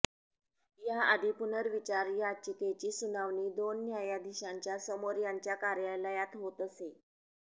याआधी पुनर्विचार याचिकेची सुनावणी दोन न्यायाधीशांच्या समोर त्यांच्या कार्यालयात होत असे